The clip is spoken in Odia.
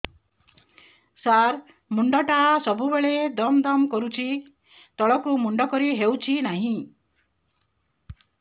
ସାର ମୁଣ୍ଡ ଟା ସବୁ ବେଳେ ଦମ ଦମ କରୁଛି ତଳକୁ ମୁଣ୍ଡ କରି ହେଉଛି ନାହିଁ